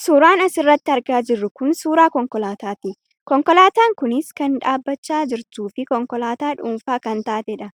Suuraan as irratti argaa jirru kun suuraa konkolaataa ti. Konkolaataan kunis kan dhaabachaa jirtuu fi konkolaataa dhuunfaa kan taatee dha.